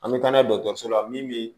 An bɛ taa n'a ye dɔgɔtɔrɔso la min bɛ